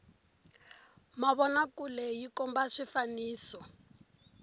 mavona kule yi komba swifaniso